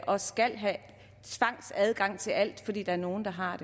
og skal have tvangsadgang til alt fordi der er nogle der har